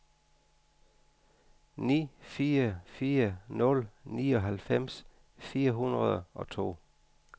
ni fire fire nul nioghalvfems fire hundrede og to